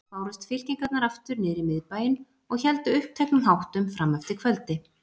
Bárust fylkingarnar aftur niðrí Miðbæinn og héldu uppteknum háttum frameftir kvöldi.